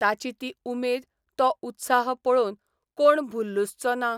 ताची ती उमेद, तो उत्साह पळोवन कोण भुल्लुसचो ना?